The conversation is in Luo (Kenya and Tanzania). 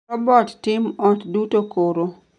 robot tim ot duto koro